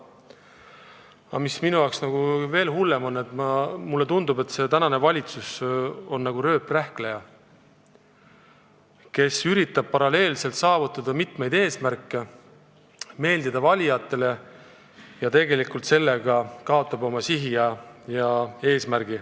Aga mis minu arvates on veel hullem: mulle tundub, et praegune valitsus on nagu rööprähkleja, kes üritab paralleelselt saavutada mitmeid eesmärke, et meeldida valijatele, aga tegelikult kaotab nii oma sihid ja eesmärgid.